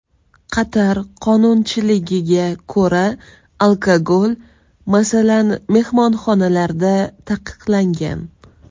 Qatar qonunchiligiga ko‘ra, alkogol, masalan, mehmonxonalarda taqiqlangan.